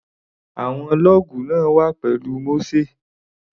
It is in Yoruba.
Àwọn lọ́ọ̀gù náà wà pẹ̀lú Mósè.